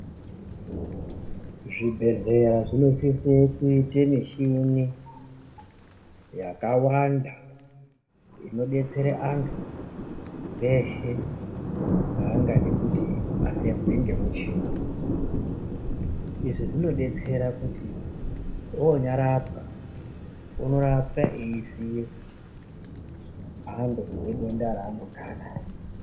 Zvibhedhlera zvinosise kuita mishini yakawanda inodetsere vantu veshe vaangade kuti vafembwe ngemuchini , izvi zvinodetsere kuti onyarapwa unorapwa eiziye mhando yedenda ravanonga anaro.